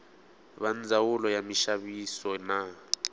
va ndzawulo ya minxaviso na